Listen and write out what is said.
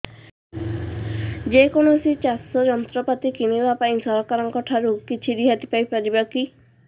ଯେ କୌଣସି ଚାଷ ଯନ୍ତ୍ରପାତି କିଣିବା ପାଇଁ ସରକାରଙ୍କ ଠାରୁ କିଛି ରିହାତି ପାଇ ପାରିବା କି